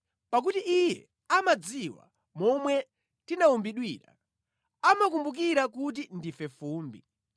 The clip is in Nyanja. pakuti Iye amadziwa momwe tinawumbidwira, amakumbukira kuti ndife fumbi.